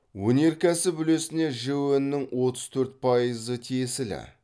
өнеркәсіп үлесіне жіө нің отыз төрт пайызы тиесілі